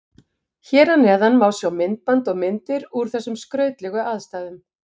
Hér að neðan má sjá myndband og myndir úr þessum skrautlegu aðstæðum.